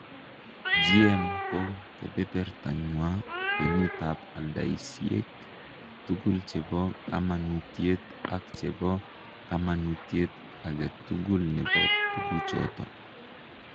GM ko kebebertanywa kwenutap aldaisyek tugul che po kamanuutyet ak che po kamanuutyet age tugul ne po tuguuchooto.